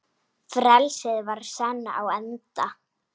Frelsið var senn á enda.